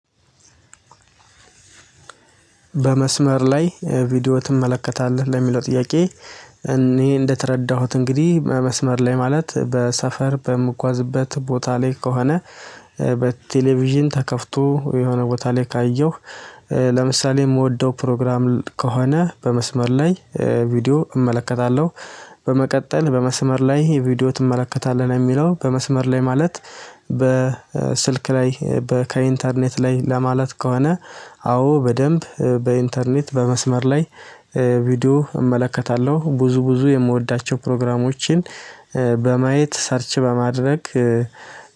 በመስመር ላይ ቪዲዮ ትመለከታለህ ለሚለው ጥያቄ? እኔ እንደተረዳሁት እንግዲህ በመስመር ላይ ማለት በሰፈር በምጓዝበት ቦታ ላይ ከሆነ በቴሌቪዥን ተከፍቶ የሆነ ቦታ ላይ ካየሁ ለምሳሌ የምወደው ፕሮግራም ከሆነ በመስመር ላይ ቪዲዮ እመለከታለሁ። በመቀጠል በመስመር ላይ ቪዲዮ ትመለከታለህ ነው የሚለው በመስመር ላይ ማለት። በስልክ ላይ በ ከኢንተርኔት ላይ ለማለት ከሆነ አዎ በደንብ በኢንተርኔት በመስመር ላይ ቪዲዮ እመለከታለሁ ብዙ ብዙ የምወዳቸውን ፕሮግራሞችን። በማየት ሰርች በማድረግ